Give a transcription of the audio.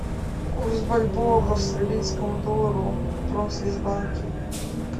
курс бальбоа к австралийскому доллару в промсвязьбанке